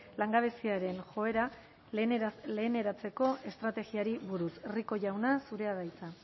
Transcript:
langabeziaren joera leheneratzeko estrategiari buruz rico jauna zurea da hitza